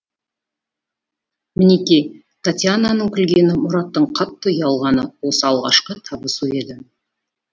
мінеки татьянаның күлгені мұраттың қатты ұялғаны осы алғашқы табысу еді